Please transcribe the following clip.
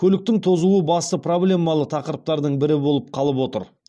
көліктің тозуы басты проблемалы тақырыптардың бірі болып қалып отыр